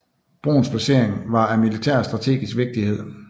Broens placering var af militær strategisk vigtighed